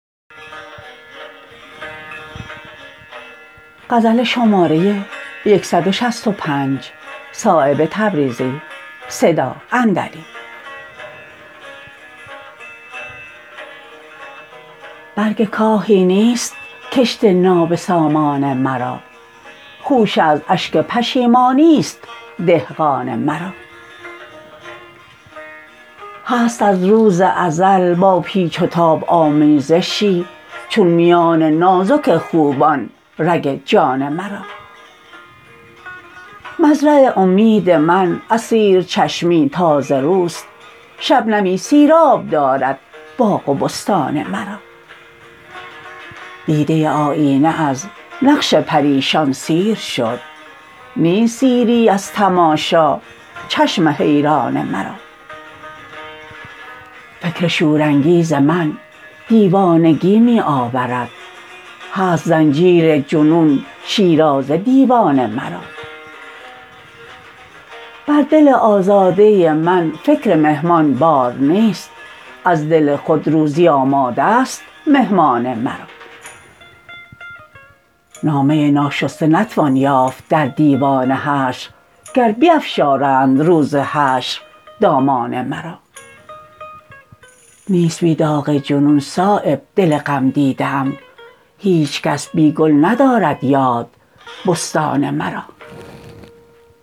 برگ کاهی نیست کشت نابسامان مرا خوشه از اشک پشیمانی است دهقان مرا هست از روز ازل با پیچ و تاب آمیزشی چون میان نازک خوبان رگ جان مرا مزرع امید من از سیر چشمی تازه روست شبنمی سیراب دارد باغ و بستان مرا دیده آیینه از نقش پریشان سیر شد نیست سیری از تماشا چشم حیران مرا فکر شورانگیز من دیوانگی می آورد هست زنجیر جنون شیرازه دیوان مرا بر دل آزاده من فکر مهمان بار نیست از دل خود روزی آماده است مهمان مرا نامه ناشسته نتوان یافت در دیوان حشر گر بیفشارند روز حشر دامان مرا نیست بی داغ جنون صایب دل غم دیده ام هیچ کس بی گل ندارد یاد بستان مرا